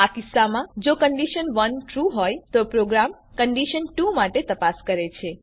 આ કિસ્સામાં જો કંડીશન ૧ ટ્રૂ હોય તો પ્રોગ્રામ કંડીશન ૨ માટે તપાસ કરે છે